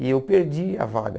E eu perdi a vaga.